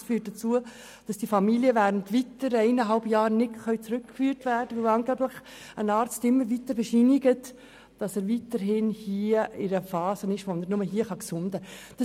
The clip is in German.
Das führt dazu, dass diese Familie während weiteren eineinhalb Jahren nicht zurückgeführt werden kann, weil ein Arzt angeblich immer weiter bescheinigt, dass der Vater sich weiterhin in einer Verfassung befindet, während der er nur hier gesunden könne.